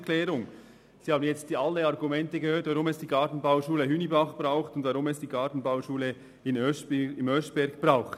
Sie haben alle Argumente gehört, weshalb es die Gartenbauschulen Hünibach und Oeschberg braucht.